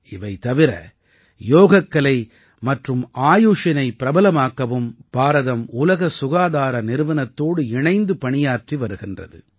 இவை தவிர யோகக்கலை மற்றும் ஆயுஷினை பிரபலமாக்கவும் பாரதம் உலக சுகாதார நிறுவனத்தோடு இணைந்து பணியாற்றி வருகிறது